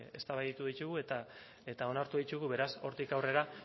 eztabaidatu ditugu eta onartu ditugu beraz hortik aurrera